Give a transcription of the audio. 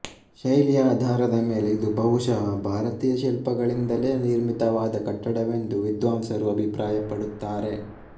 ಶೈಲಿಯ ಆಧಾರದ ಮೇಲೆ ಇದು ಬಹುಶಃ ಭಾರತೀಯ ಶಿಲ್ಪಗಳಿಂದಲೇ ನಿರ್ಮಿತವಾದ ಕಟ್ಟಡವೆಂದು ವಿದ್ವಾಂಸರು ಅಭಿಪ್ರಾಯಪಡುತ್ತಾರೆ